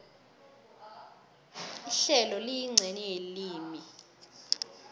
ihlelo liyincenye yelimi